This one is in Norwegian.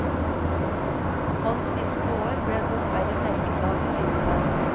Hans siste år ble dessverre merket av sykdom.